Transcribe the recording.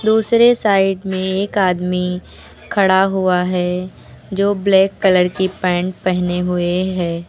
दूसरे साइड में एक आदमी खड़ा हुआ है जो ब्लैक कलर की पैंट पहने हुए है।